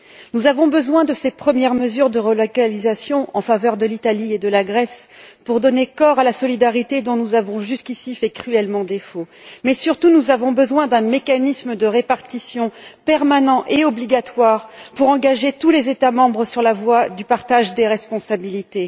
Nous avons besoin de ces premières mesures de relocalisation en faveur de l'Italie et de la Grèce pour donner corps à la solidarité dont nous avons, jusqu'ici, fait cruellement défaut. Mais, surtout, nous avons besoin d'un mécanisme de répartition permanent et obligatoire pour engager tous les États membres sur la voie du partage des responsabilités.